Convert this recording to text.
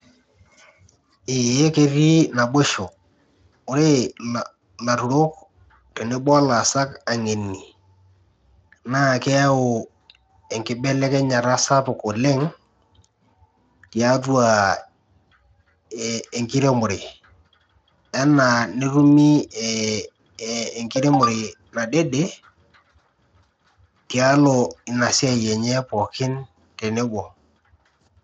Eeh ketii naboisho, wore ilaturok tenebo olaasak aingeni, naa keyau enkibelekenyata sapuk oleng', tiatua enkiremore. Enaa netumi enkiremore nadede, tialo ina siai enye pookin tenebo.